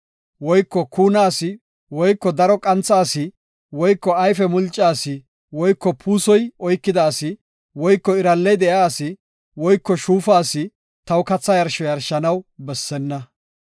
woyko kuuna asi woyko daro qantha asi woyko ayfe mulca asi woyko puusoy oykida asi woyko iralley de7iya asi woyko shuufa asi taw katha yarsho yarshanaw bessenna.